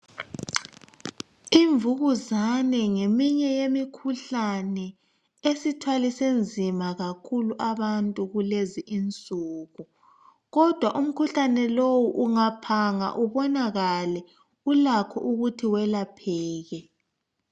Imvukuzane ngeminye yemikhuhlane esithwalise nzima kakhulu abantu kulezi insuku kodwa umkhuhlane lowu ungaphanga ubonakale kulakho ukuthi uwelapheke